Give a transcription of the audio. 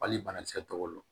Hali banakisɛ tɔgɔ don